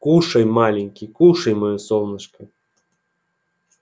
кушай маленький кушай моё солнышко